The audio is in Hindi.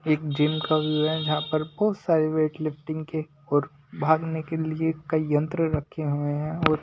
एक जिम का व्यू है जहां पर बहुत सारे वेट लिफ्टिंग के और भागने के लिए कई यंत्र रखे हुए हैं और--